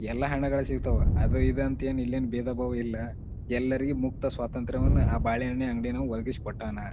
ಎಲ್ಲಾ ಹಣ್ಣಗಳು ಸಿಗ್ತವ ಅದು ಇದು ಅಂತ ಇಲ್ಲೇನ್ ಭೇದ-ಬಾವ ಇಲ್ಲಾ. ಎಲ್ಲರಿಗು ಮುಕ್ತ ಸ್ವತಂತ್ರವನ್ನ ಆ ಬಾಳೆಹಣ್ಣಿನ ಅಂಗಡಿಯವ ಒದಗಿಸಿಕೊಟ್ಟಾನ.